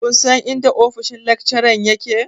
Kun san inda ofishin lakcharan yake?